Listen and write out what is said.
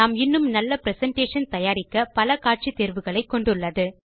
நாம் இன்னும் நல்ல பிரசன்டேஷன் தயாரிக்க பல காட்சி தேர்வுகளை கொண்டுள்ளது